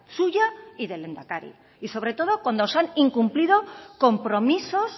suya y del lehendakari y sobre todo cuando se han incumplido compromisos